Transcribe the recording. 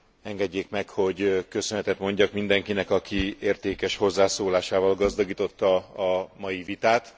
Engedjék meg, hogy köszönetet mondjak mindenkinek, aki értékes hozzászólásával gazdagította a mai vitát.